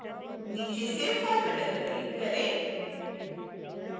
नीचे save file button पर click करें